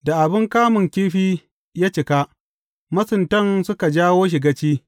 Da abin kamun kifi ya cika, masuntan suka jawo shi gaci.